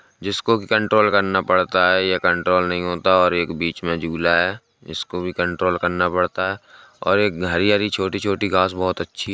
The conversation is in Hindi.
जिसको कंट्रोल करना पड़ता है ये कंट्रोल नहीं होता और एक बीच में झूला है जिसको कंट्रोल करना पड़ता है और एक हरी -हरी छोटी- छोटी घास बोहोत अच्छी है।